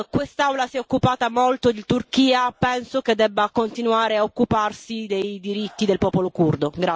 Quest'Aula si è occupata molto di Turchia e penso che debba continuare a occuparsi dei diritti del popolo curdo.